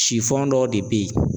Sifɔn dɔ de bɛ ye.